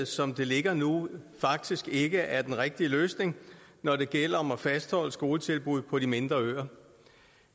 som det ligger nu faktisk ikke er den rigtige løsning når det gælder om at fastholde skoletilbud på de mindre øer